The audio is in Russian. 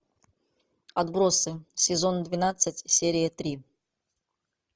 отбросы сезон двенадцать серия три